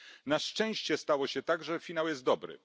Na szczęście stało się tak, że finał jest dobry.